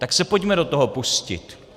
Tak se pojďme do toho pustit.